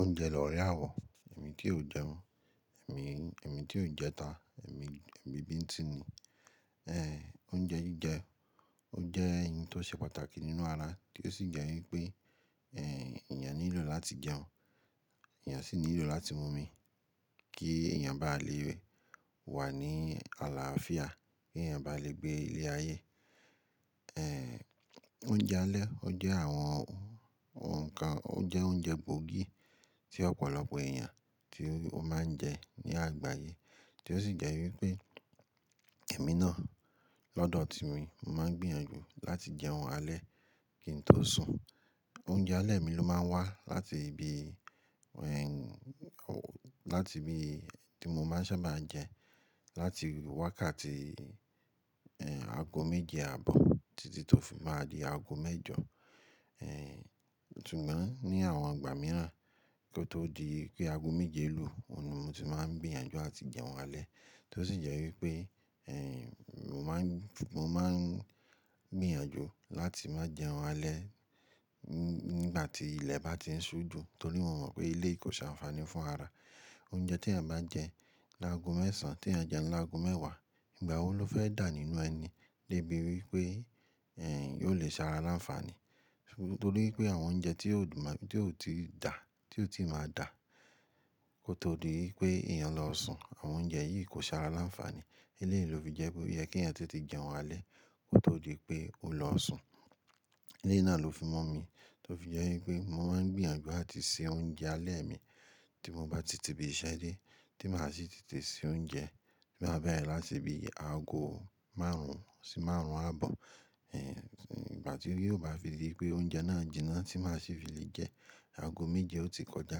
Oúnjẹ lóre àwọ̀, èmi tí yóò jẹun, èmi, èmi tí yóò jẹta, èmi, èmi bíntín ni. Ehn, oúnjẹ jíjẹ, ó jẹ́ ohun tó ṣe pàtàkì nínú ara, tí ó sì jẹ́ wípé, ehn, èèyàn nílò láti jẹun, èèyàn sì nílò láti mú omi kí èèyàn bá lè wà ní àlàáfíà, kí èèyàn bá lè gbé ilé ayé. Ehn, oúnjẹ alẹ́, ó jẹ́ àwọn nǹkan, ó jẹ́ oúnjẹ pọ́ọ̀kí tí ọ̀pọ̀lọpọ̀ èèyàn tí ó máa ń jẹ ní àgbáyé, tí ó sì jẹ́ wípé èmi náà lọ́dọ̀ ti mi, mo máa ń gbìyànjú láti jẹun alẹ́ kí n tó sùn. Oúnjẹ alẹ́ mi ló máa ń wá láti ibi, ehn, láti ibi tí mo máa sábà jẹ láti wákàtí, ehn, aago méje àbọ̀ títí tó fi máa di aago mẹ́jọ. Ehn, ṣùgbọ́n ní àwọn ìgbà mìíràn kí ó tó di pé aago méje lu, òun ni mo ti máa ń gbìyànjú láti jẹun alẹ́. Tí ó sì jẹ́ wípé, ehn, mo máa ń, mo máa ń gbìyànjú láti má jẹun alẹ́ nígbà tí ilẹ̀ bá ti ń ṣú ju, torí mo mọ̀ pé ilé kò ṣe ànfààní fún ara. Oúnjẹ tí èèyàn bá jẹ́ lágo mẹ́sàn tí à jẹ́ lágo mẹ́wàá, ìgbà wo ló fẹ́ dà nínú ẹni débi wípé, ehn, yóò lè ṣe ara láńfààní? Nítorí pé àwọn oúnjẹ tí yóò máa, tí yóò ti dà, tí yóò ti máa dà kó tó di wípé èèyàn lọ sùn, àwọn oúnjẹ yìí kò ṣe ara láńfààní. Ilé yìí ló fi jẹ́ pé ó yẹ kí èèyàn tó ti jẹun alẹ́ kó tó di pé ó lọ sùn. Iléyi náà ló fi mú omi tó fi jẹ́ wípé mo máa ń gbìyànjú láti se oúnjẹ alẹ́ mi tí mo bá ti tìbí ṣẹ́dé, tí màá sì tètè se oúnjẹ tí màá bá ẹ láti ibi aago márùn-ún sí márùn-ún àbọ̀. Ehn, ìgbà tí ó yóò bá fi di pé oúnjẹ náà jinná tí màá sì fi lè jẹ́ aago méje ó ti kọjá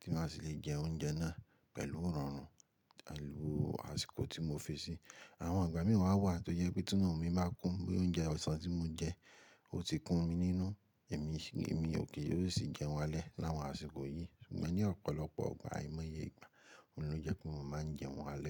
tí màá sì lè jẹ oúnjẹ náà pẹ̀lú irọ́nrùn àlù aṣikọ tí mo fi sí i. Àwọn ìgbà mìíràn wà tó jẹ́ pé tinu mí máa kún pé oúnjẹ ọ̀sán tí mo jẹ ó ti kún mi nínú. Èmi sì, èmi ò kì yóò sì jẹun alẹ́ láwọn àsìkò yìí. Ṣùgbọ́n ní ọ̀pọ̀lọpọ̀ igbà àìmọye ìgbà, òun ló jẹ́ pé mo máa ń jẹun alẹ́.